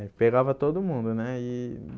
É, pegava todo mundo, né? E